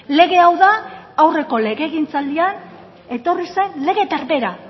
lege hau da aurreko legegintzaldian etorri zen lege berbera